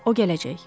O gələcək.